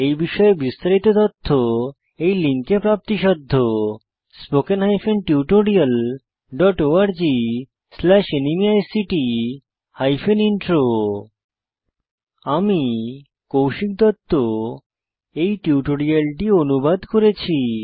এই বিষয়ে বিস্তারিত তথ্য এই লিঙ্কে প্রাপ্তিসাধ্য spoken hyphen tutorial dot org slash NMEICT hyphen intro আমি কৌশিক দত্ত এই টিউটোরিয়ালটি অনুবাদ করেছি